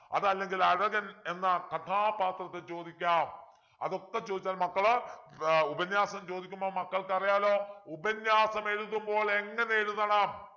അതല്ലെങ്കിൽ അഴകൻ എന്ന കഥാപാത്രത്തെ ചോദിക്കാം അതൊക്കെ ചോദിച്ചാൽ മക്കളെ ആഹ് ഉപന്യാസം ചോദിക്കുമ്പോൾ മക്കൾക്ക് അറിയാലോ ഉപന്യാസം എഴുതുമ്പോൾ എങ്ങനെ എഴുതണം